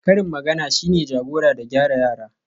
karin magana shine jagora da gyara yara